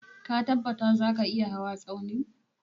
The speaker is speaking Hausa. Ka tabbatar zaka iya hawa Tsaunin?